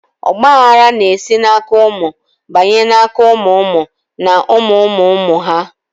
Ọgba aghara na esi na aka ụmụ banye na aka ụmụ ụmụ na ụmụ ụmụ ụmụ ha